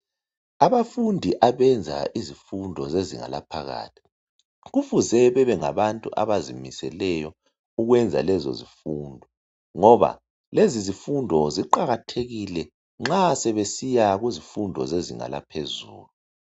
Abafundi abenza izifundo zezinga laphakathi kufuze bebengabantu abazimiseleyo ukwenza lezo zifundo ngoba lezi zifundo ziqakathekile nxa sebesiya kuzifundo zezinga laphezulu.